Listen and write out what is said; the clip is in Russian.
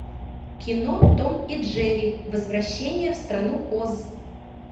кино том и джерри возвращение в страну оз